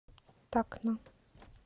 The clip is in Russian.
такна